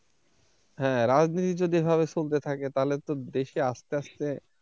হ্যাঁ রাজনীতি যদি এভাবে চলতে থাকে তাহলে তো দেশ কে আস্তে আস্তে,